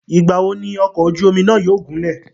Ìgbà wo ni ọ̀kọ̀ ojú omi náà yóò gúnlẹ̀?